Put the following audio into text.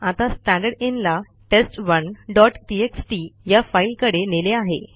आता स्टँडरदिन ला test one dot TXT या फाईलकडे नेले आहे